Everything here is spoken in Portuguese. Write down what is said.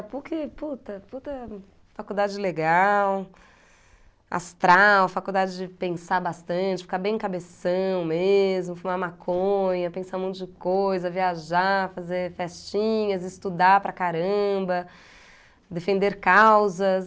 A Puc, puta, puta... Faculdade legal, astral, faculdade de pensar bastante, ficar bem cabeção mesmo, fumar maconha, pensar um monte de coisa, viajar, fazer festinhas, estudar para caramba, defender causas.